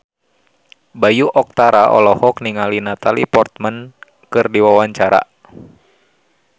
Bayu Octara olohok ningali Natalie Portman keur diwawancara